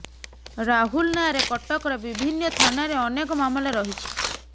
ରାହୁଲ୍ ନାଁରେ କଟକର ବିଭିନ୍ନ ଥାନାରେ ଅନେକ ମାମଲା ରହିଛି